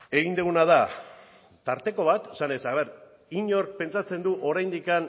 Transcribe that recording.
egin duguna da tarteko bat esanez inork pentsatzen du oraindik